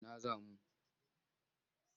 Ina za mu?